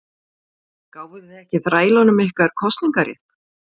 Gáfuð þið ekki þrælunum ykkar kosningarétt?